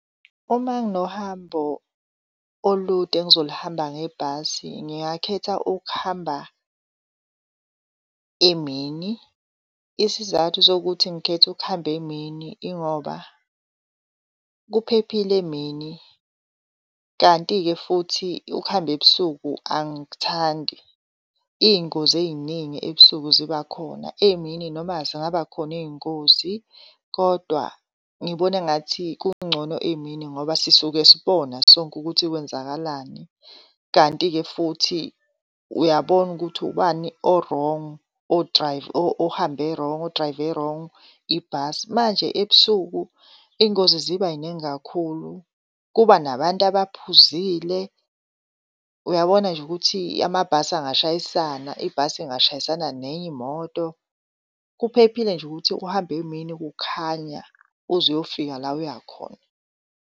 Uma nginohambo olude engizolihamba ngebhasi, ngingakhetha ukuhamba emini. Isizathu sokuthi ngikhethe ukuhamba emini ingoba kuphephile emini kanti-ke futhi ukuhamba ebusuku angikuthandi, iy'ngozi ey'ningi ebusuku zibakhona. Emini noma zingaba khona iy'ngozi kodwa ngibona engathi kungcono emini ngoba sisuke sibona sonke ukuthi kwenzakalani. Kanti-ke futhi uyabona ukuthi ubani o-wrong, ohambe wrong, o-drive-e wrong ibhasi. Manje ebusuku iy'ngozi zibay'ningi kakhulu kubanabantu abaphuzile. Uyabona nje ukuthi amabhasi angashayisana, ibhasi ingashayisana nenye imoto. Kuphephile nje ukuthi uhambe emini kukhanya uzuyofika la uyakhona.